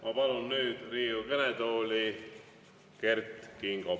Ma palun nüüd Riigikogu kõnetooli Kert Kingo.